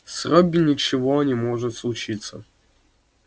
с робби ничего не может случиться